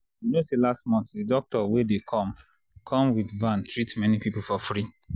you know say last month the doctor wey dey come come with van treat many people for free